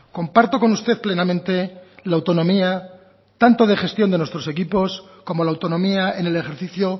comparto con usted plenamente la autonomía tanto de gestión de nuestros equipos como la autonomía en el ejercicio